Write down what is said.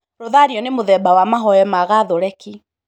Rothario nĩ mũthemba wa mahoya ma gatholeki.